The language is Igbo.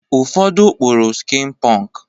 Ụfọdụ kpụrụ skin pọnk.